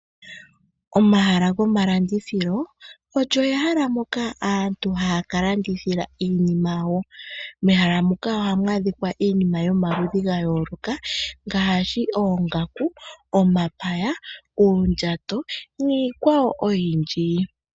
Omahala goma landithilo olyo ehala moka aantu haya ka landithila iinima yawo. Mehala muka ohamu adhikwa iinima yomaludhi gayoloka ngaashi oongaku, omapaya, uundjato niikwawo oyindji.